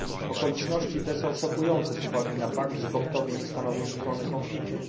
Okoliczności te są szokujące z uwagi na fakt, że Koptowie nie stanowią strony konfliktu.